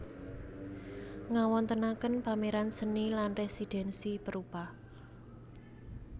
Ngawontenaken pameran seni lan residensi perupa